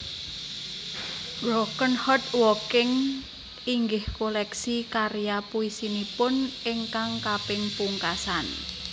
Broken Heart Walking inggih koleksi karya puisinipun ingkang kaping pungkasan